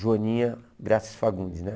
Joaninha Graças Fagundes, né?